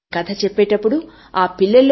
నేను చెప్తున్న ఈ కథ మా నాయనమ్మ దగ్గర విన్నాను